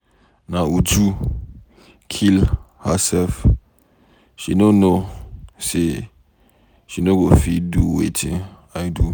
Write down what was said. Na Uju kill herself. She no know say she no go fit do wetin I do.